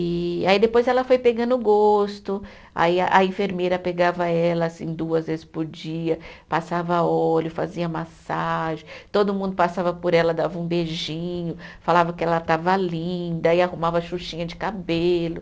E aí depois ela foi pegando o gosto, aí a a enfermeira pegava ela assim duas vezes por dia, passava óleo, fazia massagem, todo mundo passava por ela, dava um beijinho, falava que ela estava linda e arrumava xuxinha de cabelo.